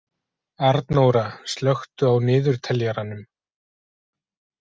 Arnóra, slökktu á niðurteljaranum.